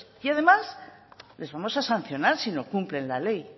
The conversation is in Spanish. además les vamos a sancionar si no cumplen la ley